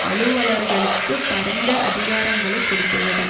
அலுவலர்களுக்கு பரந்த அதிகாரங்களை கொடுத்துள்ளது